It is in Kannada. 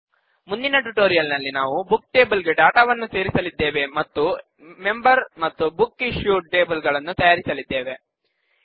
ಮುಂದಿನ ಟ್ಯುಟೋರಿಯಲ್ ನಲ್ಲಿ ನಾವು ಬುಕ್ ಟೇಬಲ್ ಗೆ ಡಾಟಾವನ್ನು ಸೇರಿಸಲಿದ್ದೇವೆ ಮತ್ತು ಮೆಂಬರ್ ಮತ್ತು ಬುಕ್ ಇಶುಯ್ಡ್ ಟೇಬಲ್ ಗಳನ್ನು ತಯಾರಿಸಲಿದ್ದೇವೆ